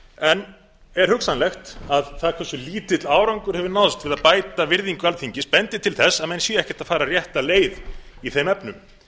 en er hugsanlegt að það hversu lítill árangur hefur náðst til að bæta virðingu alþingis bendir til þess að menn séu ekkert að fara rétta leið í þeim efnum